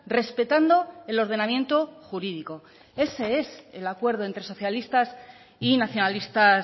respetando el ordenamiento jurídico ese es el acuerdo entre socialistas y nacionalistas